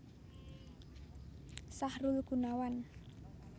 Sahrul Gunawan